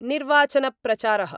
निर्वाचन प्रचारः